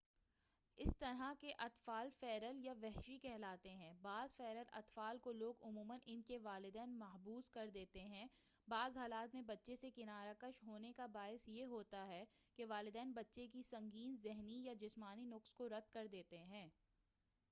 اس طرح کے اطفال ”فیرل یا وحشی کہلاتے ہیں۔ بعض فیرل اطفال کو لوگ عموماً ان کے والدین محبوس کر دیتے ہیں؛ بعض حالات میں بچے سے کنارہ کش ہونے کا باعث یہ ہوتا ہے کہ والدین بچے کے سنگین ذہنی یا جسمانی نقص کو رد کر دیتے ہیں۔